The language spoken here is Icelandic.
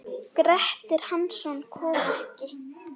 Grettir Hansson kom ekki.